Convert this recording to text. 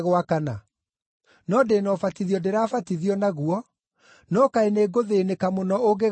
No ndĩ na ũbatithio ndĩrĩbatithio naguo, no kaĩ nĩngũthĩĩnĩka mũno ũngĩgaakinya-ĩ!